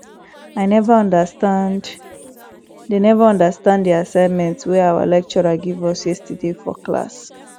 i never understand the never understand the assignment wey our lecturer give us yesterday for class